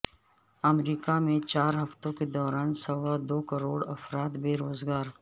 امریکہ میں چار ہفتوں کے دوران سوا دو کروڑ افراد بے روزگار